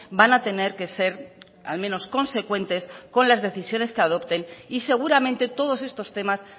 van a tener que ser al menos consecuentes con las decisiones que adopten y seguramente todos estos temas